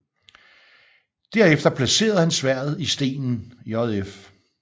Derefter placerer han sværdet i stenen jf